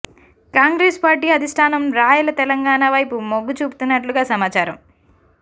Congress party అధిష్టానం రాయల తెలంగాణ వైపు మొగ్గు చూపుతున్నట్లుగా సమాచారం